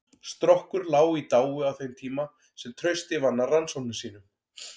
Strokkur lá í dái á þeim tíma sem Trausti vann að rannsóknum sínum.